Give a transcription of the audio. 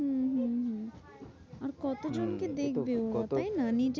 হম হম হম আর কত হম জনকে কত দেখবে ওরা তাইনা?